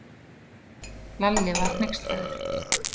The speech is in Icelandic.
Lalli var hneykslaður.